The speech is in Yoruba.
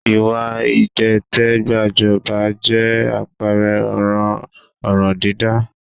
Ìwà ìdìtẹ̀gbàjọba jẹ́ àpẹẹrẹ ọ̀ràn ọ̀ràndídá